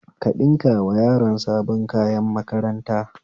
Ka ɗinkawa yaron sabon kayan makaranta